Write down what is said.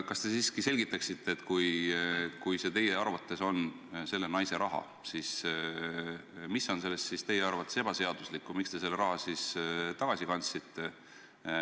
Kas te siiski selgitaksite, et kui see on teie meelest selle naise raha, siis mis on selles teie arvates ebaseaduslikku ja miks te selle raha tagasi kandsite?